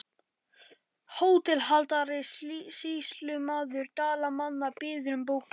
HÓTELHALDARI: Sýslumaður Dalamanna biður um bókina.